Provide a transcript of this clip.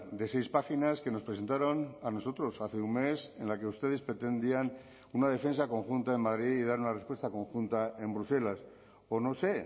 de seis páginas que nos presentaron a nosotros hace un mes en la que ustedes pretendían una defensa conjunta en madrid y dar una respuesta conjunta en bruselas o no sé